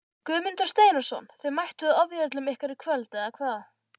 Guðmundur Steinarsson Þið mættuð ofjörlum ykkar í kvöld eða hvað?